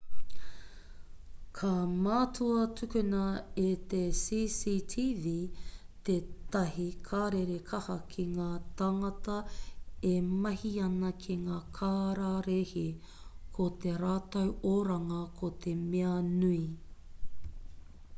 ka mātua tukuna e te cctv tētahi karere kaha ki ngā tāngata e mahi ana ki ngā kararehe ko tō rātou oranga ko te mea nui